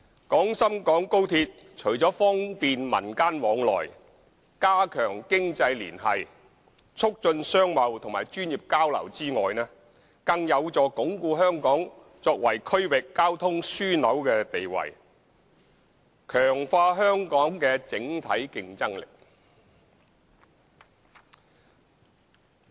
廣深港高鐵除了方便民間往來、加強經濟聯繫、促進商貿和專業交流外，更有助鞏固香港作為區域交通樞紐的地位，強化香港的整體競爭力。